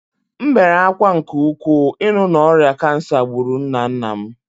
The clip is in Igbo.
M bere ákwá nke ukwuu ịnụ na ọrịa kansa gburu nna nna m